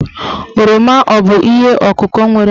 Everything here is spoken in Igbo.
Oroma abụ ihe ọ̀kụ̀kọ̀ nwere mkpụrụ?